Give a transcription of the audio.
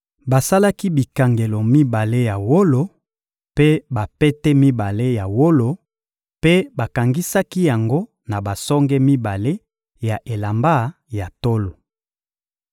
Basalaki bikangelo mibale ya wolo mpe bapete mibale ya wolo mpe bakangisaki yango na basonge mibale ya elamba ya tolo.